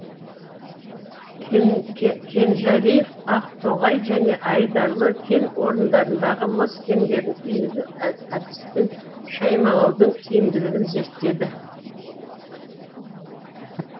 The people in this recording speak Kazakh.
кенжәлиев ақтоғай және айдарлы кен орындарындағы мыс кендерін үйінді әдіспен шаймалаудың тиімділігін зерттеді